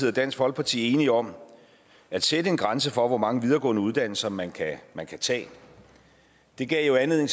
og dansk folkeparti enige om at sætte en grænse for hvor mange videregående uddannelser man kan man kan tage det gav jo anledning